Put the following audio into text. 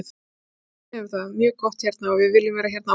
Fjölskyldan mín hefur það mjög gott hérna og við viljum vera hérna áfram.